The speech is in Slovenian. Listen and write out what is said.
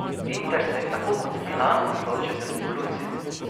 Inter se je tako kot Milan odločil za revolucijo.